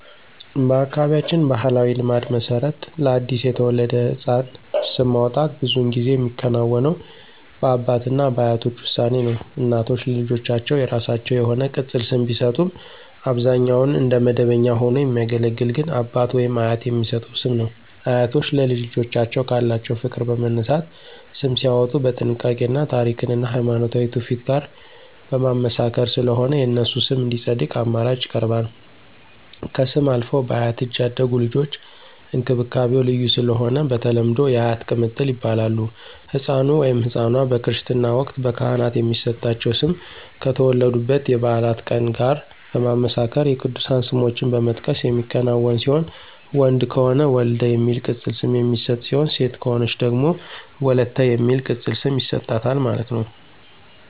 በአካባቢያችን ባሕላዊ ልማድ መሰረት ለአዲስ የተወለደ ሕፃን ስም ማውጣት ብዙውን ጊዜ የሚከናወነው በአባት እና በአያቶች ውሳኔ ነው። እናቶች ለልጆቻቸው የራሳቸው የሆነ ቅፅል ስም ቢሰጡም አብዛኛውን እንደ መደበኛ ሆኖ የሚያገለግል ግን አባት/አያት የሚሰጠው ስም ነው። አያቶች ለልጅ ልጆቻቸው ካላቸው ፍቅር በመነሳት ስም ሲያዎጡ በጥንቃቄ እና ታሪክን እና ሀይማኖታዊ ትውፊት ጋር በማመሳከር ስለሆነ የነሱ ስም እንዲፀድቅ አማራጭ ይቀርባል። ከስም አልፈው በአያት እጅ ያደጉ ልጆች እንክብካቤው ልዩ ስለሆነ በተለምዶ *የአያት ቅምጥል ይባላሉ*።ህፃኑ/ኗ በክርስትና ወቅት በካህናት የሚሰጣቸው ስም ከተወለዱበት የበዓላት ቀን ጋር በማመሳከር የቅዱሳን ስሞችን በመጥቀስ የሚከናወን ሲሆን ወንድ ከሆነ *ወልደ* የሚል ቅፅል ስም የሚሰጥ ሲሆን ሴት ከሆነች ደግሞ *ወለተ*የሚል ቅፅል ስም ይሰጣታል ማለት ነው